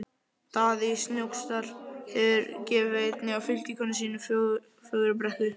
Daði í Snóksdal hefur gefið einni af fylgikonum sínum Fögrubrekku.